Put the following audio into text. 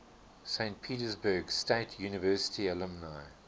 saint petersburg state university alumni